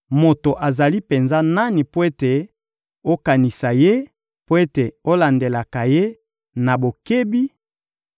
Moto azali penza nani mpo ete okanisaka ye, mpo ete olandelaka ye na bokebi,